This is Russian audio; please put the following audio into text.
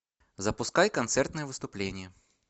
запускай концертные выступления